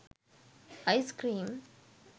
ice cream